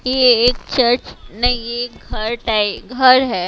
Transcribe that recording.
ये एक चर्च नहीं ये घर टाइप घर है।